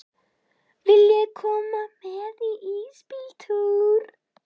Viljiði koma með í ísbíltúr?